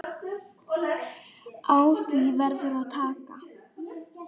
Á því verður að taka.